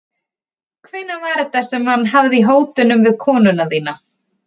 Hvenær var þetta sem hann. hafði í hótunum við konuna þína?